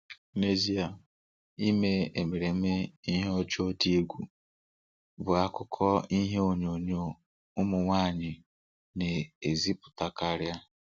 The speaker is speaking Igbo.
N'ezie, ime emereme ihe ụjọ dị egwu bụ akụkụ ihe onyonyo ụmụ nwaanyị na-ezipụtakarị.